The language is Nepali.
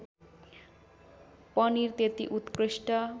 पनिर त्यति उत्कृष्ट